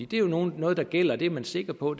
det er jo noget der gælder det er man sikker på